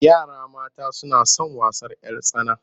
Yara mata suna son wasan 'yar tsana.